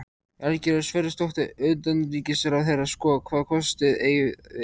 Valgerður Sverrisdóttir, utanríkisráðherra: Sko, hvaða kosti eigum við?